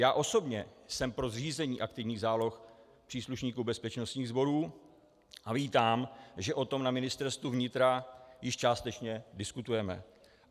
Já osobně jsem pro zřízení aktivních záloh příslušníků bezpečnostních sborů a vítám, že o tom na Ministerstvu vnitra již částečně diskutujeme.